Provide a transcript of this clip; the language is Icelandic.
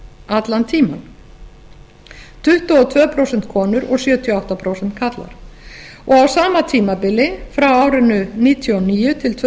allan tímann tuttugu og tvö prósent konur og sjötíu og átta prósent karlar á sama tímabili frá árinu nítján hundruð níutíu og níu til tvö